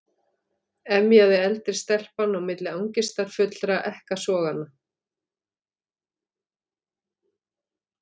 emjaði eldri stelpan á milli angistarfullra ekkasoganna.